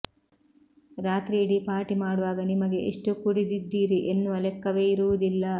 ರಾತ್ರಿಯಿಡಿ party ಮಾಡುವಾಗ ನಿಮಗೆ ಎಷ್ಟು ಕುಡಿದಿದ್ದೀರಿ ಎನ್ನುವ ಲೆಕ್ಕವೇ ಇರುವುದಿಲ್ಲ